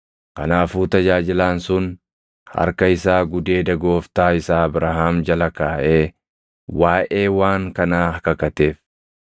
Kanaafuu tajaajilaan sun harka isaa gudeeda gooftaa isaa Abrahaam jala kaaʼee waaʼee waan kanaa kakateef.